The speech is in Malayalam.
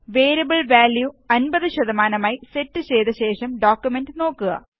വേരിയബിള് വാല്യു 50 ആയി സെറ്റ് ചെയ്ത ശേഷം ഡോക്കുമെന്റ് നോക്കുക